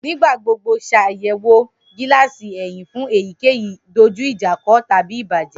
Nigba gbogbo ṣayẹwo gilasi ẹhin fun eyikeyi dojuijako tabi ibajẹ.